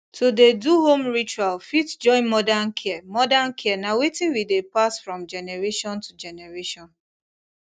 to dey do home ritual fit join modern care modern care na thing wey dey pass from generation to generation